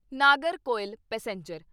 Nagercoil passenger